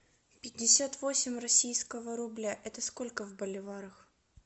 пятьдесят восемь российского рубля это сколько в боливарах